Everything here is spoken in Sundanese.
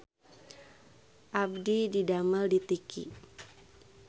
Abdi didamel di Tiki